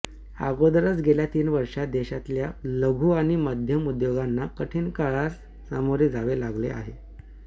अगोदरच गेल्या तीन वर्षांत देशातल्या लघु आणि मध्यम उद्योगांना कठीण काळास सामोरे जावे लागलेले आहे